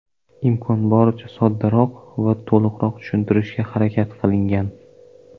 imkon boricha soddaroq va to‘liqroq tushuntirishga harakat qilingan.